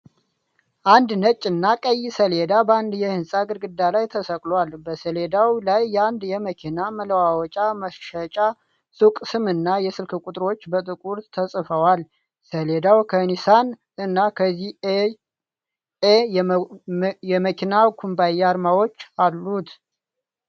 አንድ ነጭና ቀይ ሰሌዳ በአንድ የሕንፃ ግድግዳ ላይ ተሰቅሏል፡፡ በሰሌዳው ላይ የአንድ የመኪና መለዋወጫ መሸጫ ሱቅ ስምና የስልክ ቁጥሮች በጥቁር ተጽፈዋል፡፡ ሰሌዳው ከኒሳን እና ከዚ.ኤን.ኤ የመኪና ኩባንያዎች አርማዎች አሉት፡፡